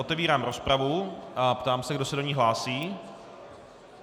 Otevírám rozpravu a ptám se, kdo se do ní hlásí.